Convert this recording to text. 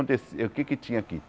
Acontecia o que é que tinha aqui?